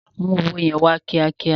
Mú owó yẹn wá kíá kíá.